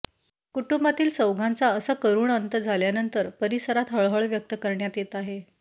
कुटुंबातील चौघांचा असा करूण अंत झाल्यानंतर परिसरात हळहळ व्यक्त करण्यात येत आहे